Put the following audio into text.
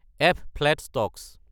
F. Flat stocks